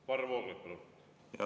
Varro Vooglaid, palun!